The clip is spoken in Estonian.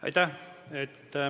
Aitäh!